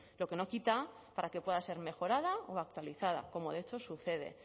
lo que no quita para que pueda ser mejorada o actualizada como de hecho sucede